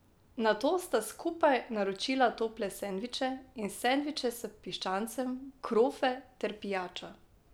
Nato sta skupaj naročila tople sendviče in sendviče s piščancem, krofe ter pijačo.